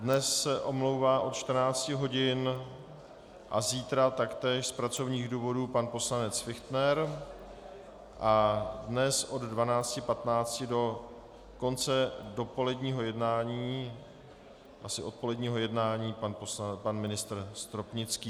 Dnes se omlouvá od 14 hodin a zítra taktéž z pracovních důvodů pan poslanec Fichtner a dnes od 12.15 do konce dopoledního jednání, asi odpoledního jednání, pan ministr Stropnický.